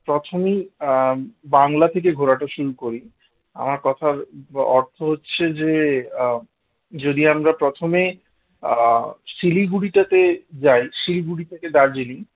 প্রথমেই আহ বাংলা থেকে ঘোড়াটা শুরু করি, আমার কথার অর্থ হচ্ছে যে আহ যদি আমরা প্রথমে আহ শিলিগুড়িটাতে যাই শিলিগুড়ি থেকে দার্জিলিং